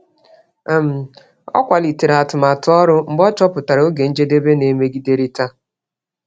um Ọ kwalitere atụmatụ ọrụ mgbe ọ chọpụtara oge njedebe na-emegiderịta.